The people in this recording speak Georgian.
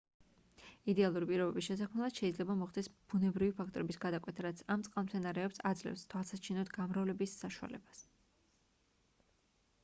იდეალური პირობების შესაქმნელად შეიძლება მოხდეს ბუნებრივი ფაქტორების გადაკვეთა რაც ამ წყალმცენარეებს აძლევს თვალსაჩინოდ გამრავლების საშუალებას